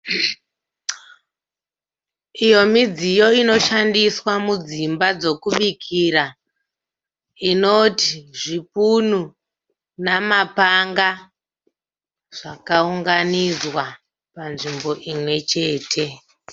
Iyo midziyo inoshandiswa mudzimba dzokubikira inoti zvipunu namapanga zvakaunganidzwa panzvimbo imwe chete.